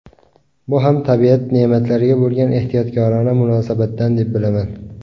Bu ham tabiat ne’matlariga bo‘lgan ehtiyotkorona munosabatdan deb bilaman.